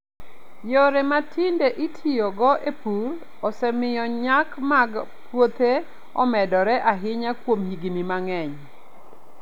Yore ma tinde itiyogo e pur osemiyo nyak mag puothe omedore ahinya kuom higini mang'eny.